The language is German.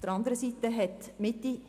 Dabei hat die Mitte,